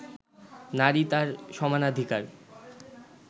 নারী তার সমানাধিকার